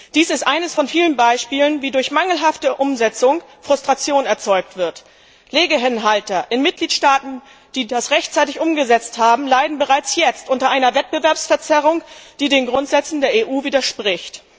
Dies ist eines von vielen Beispielen, wie durch mangelhafte Umsetzung Frustration erzeugt wird. Legehennenhalter in Mitgliedstaaten, die das rechtzeitig umgesetzt haben, leiden bereits jetzt unter einer Wettbewerbsverzerrung, die den Grundsätzen der EU widerspricht.